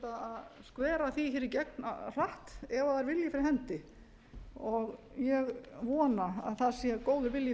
að sé hægt að skvera því hér í gegn hratt ef það er vilji fyrir hendi ég vona að það sé góður vilji